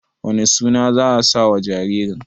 wane suna za a sawa jaririn?